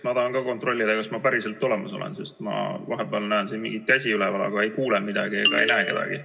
Ma tahan ka kontrollida, kas ma päriselt olemas olen, sest ma vahepeal näen siin mingeid käsi üleval, aga ei kuule midagi ega näe kedagi.